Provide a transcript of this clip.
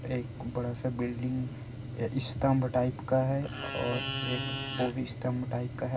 एक बड़ा-सा बिल्डिंग अ स्तम्भ टाइप का हैं और एक ओभी स्तम्भ टाइप का हैं।